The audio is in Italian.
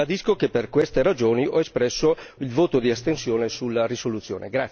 Ribadisco che per queste ragioni ho espresso il voto di astensione sulla risoluzione.